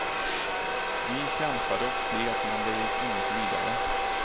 Vi kämpade och slet, men det gick inget vidare.